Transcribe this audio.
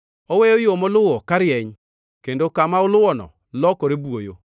Oweyo yo moluwo karieny, kendo kama oluwono lokore buoyo.